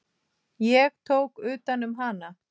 Ég tók utan um hana.